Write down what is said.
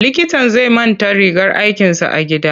Likitan zai manta rigar aikinsa a gida.